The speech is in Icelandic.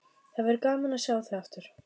Það verður gaman að sjá þig aftur.